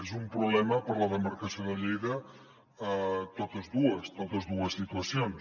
són un problema per a la demarcació de lleida totes dues totes dues situacions